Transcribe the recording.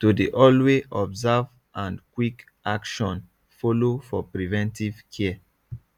to dey alway observe and quick action follow for preventive care